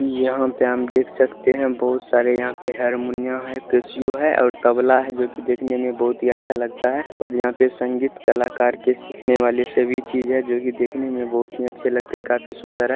यहाँ पे हम देख सकते है बहुत सारे यहाँ पे हरमुनिया है और तबला हैजो की देखने में बहुत ही अच्छा लगता है और यहाँ पे संगीत कलाकार के सीखने वाली सभी चीज है जो की देखने में काफी अच्छे लगते है काफी सूंदर है।